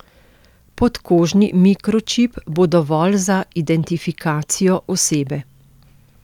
Podkožni mikročip bo dovolj za identifikacijo osebe.